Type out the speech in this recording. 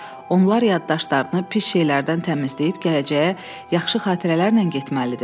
Onlar yaddaşlarını pis şeylərdən təmizləyib gələcəyə yaxşı xatirələrlə getməlidir.